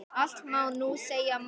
Allt má nú segja manni.